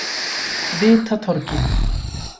Vitatorgi